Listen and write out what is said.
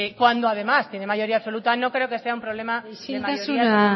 cuando además tiene mayoría absoluta no creo que sea un problema de mayoría isiltasuna